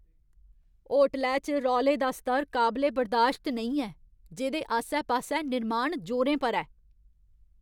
होटलै च रौले दा स्तर काबले बर्दाश्त नेईं ऐ, जेह्‌दे आस्सै पास्सै निर्माण जोरें पर ऐ।